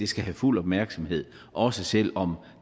skal have fuld opmærksomhed også selv om